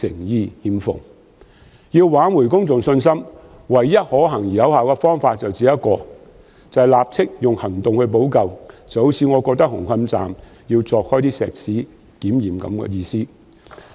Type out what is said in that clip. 要挽回公眾信心，唯一可行而有效的方法是立即以行動補救，正如我認為要將紅磡站的混凝土牆鑿開進行檢驗一樣。